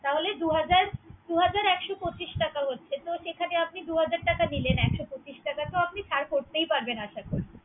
তাহলে দু হাজার, দু হাজার একশো পচিশ টাকা হচ্ছে। যেখানে আপনি দু হাজার টাকা নিলেন। একশ পচিশ টাকা তো ছাড় করতে পারবেন আশা করি।